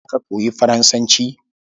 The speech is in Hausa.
Za ka koyi Faransanci?